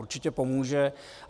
Určitě pomůže.